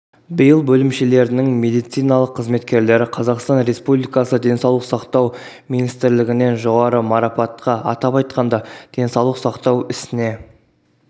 биыл бөлімшелерінің медициналық қызметкерлері қазақстан республикасы денсаулық сақтау министрлігінен жоғары марапатқа атап айтқанда денсаулық сақтау ісіне